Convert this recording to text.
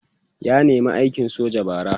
ya nema aikin soja bara